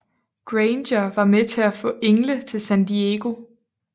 Granger var med til at få Engle til San Diego